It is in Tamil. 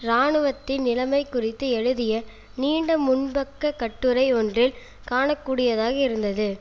இராணுவத்தின் நிலைமை குறித்து எழுதிய நீண்ட முன்பக்க கட்டுரை ஒன்றில் காண கூடியதாக இருந்தது